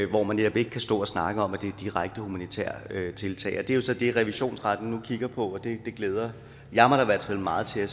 hvor man netop ikke kan stå og snakke om at det er direkte humanitære tiltag det er så det som revisionsretten nu kigger på og det glæder jeg mig i hvert fald meget til